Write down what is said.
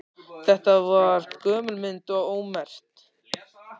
Þetta var gömul mynd og ómerkt.